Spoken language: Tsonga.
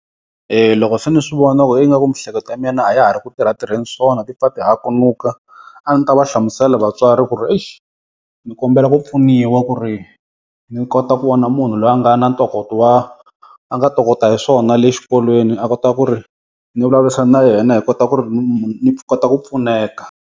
E loko se ni swi vona ku ingaku miehleketo ya mina a ya ha ri ku tirha tirheni swona ti pfa ti hakunuka, a ndzi ta va hlamusela vatswari ku ri ixi ni kombela ku pfuniwa ku ri ni kota ku vona munhu loyi a nga na ntokoto wa, a nga tokota hi swona le xikolweni a kota ku ri ni vulavurisana na yena hi kota ku ri ni kota ku pfuneka.